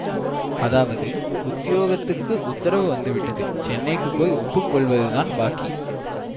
அதாவது உத்தியோகத்துக்கு உத்தரவு வந்து விட்டது சென்னைக்கு போய் ஒப்பு கொள்வது தான் பாக்கி